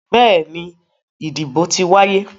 Bẹ́ẹ̀ni, ìdìbò ti wáyé.